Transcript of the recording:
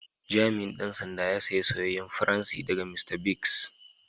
Jami'in Dan sanda ya saya soyayen fransi daga Mr.biggs.